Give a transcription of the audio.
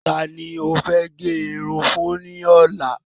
Ta ni ó fẹ́ gẹ irun fún ní ọ̀la?